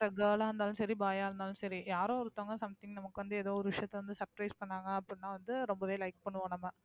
girl ஆ இருந்தாலும் சரி, boy யா இருந்தாலும் சரி யாரோ ஒருத்தவங்க something நமக்கு வந்து ஏதோ ஒரு விஷயத்தை வந்து surprise பண்ணாங்க அப்படின்னா வந்து ரொம்பவே like பண்ணுவோம் நம்ம.